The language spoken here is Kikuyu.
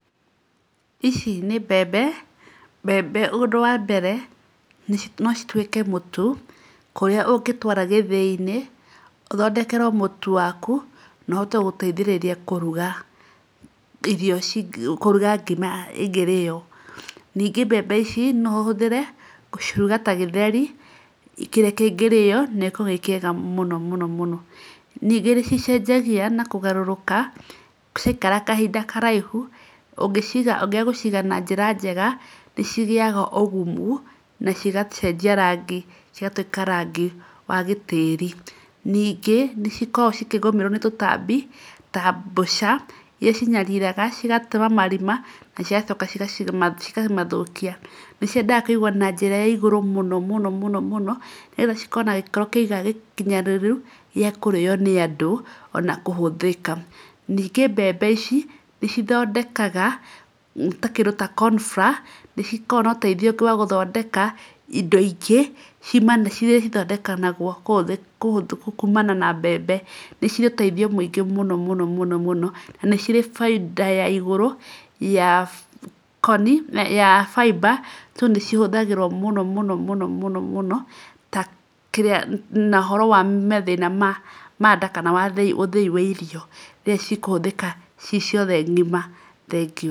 Ĩci nĩ mbembe. Mbembe ũndũ wa mbere no cituĩke mũtu kũrĩa ũngĩtwara gĩthĩ-inĩ ũthondekerwo mũtu waku na ũhote gũteithĩrĩria kũruga irio kũruga ngima ĩngĩrĩyo. Ningĩ mbembe ici no ũhũthĩre gũciruga ta gĩtheri kĩrĩa kĩngĩrĩyo nagĩkorwo gĩ kĩega mũno mũno. Ningĩ nĩ cicenjagia na kũgarũrũka ciaikara kahinda karaĩhu, ũngĩaga gũciga na njĩra njega nĩ cigĩyaga ũgumu na cigacenjia rangi cigatuĩka rangi wa gĩtĩri. Ningĩ nĩ cikoragwo cikĩgũmĩrwo nĩ tũtambi ta mbũca iria cinyariraga cigatũra marima na cigacoka cikamathũkia. Nĩ ciendaga kũigwo na njĩra ya igũrũ mũno mũno, nĩgetha cikorwo na gĩkĩro gĩkinyanĩru gĩa kũrĩyo nĩ andũ ona kũhũthĩka. Ningĩ mbembe ici nĩ cithondekaga ta kĩndũ ta corn flour nĩ cikoragwo na ũteithio ũngĩ wa gũthondeka ĩndo ĩngĩ ĩria cithondekagwo kumana na mbembe. Nĩcirĩ ũteithio mũingĩ mũno mũno mũno mũno na nĩ cirĩ bainda ya igũrũ ya koni, ya fiber, so nĩcihũthagĩrwo mũno mũno mũno mũno ta kĩrĩa na ũhoro wa mathĩna ma nda kana ũthĩi wa irio rĩrĩa cikũhũthĩka ci ciothe ng'ima. Thengiũ.